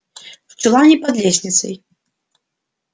в чулане под лестницей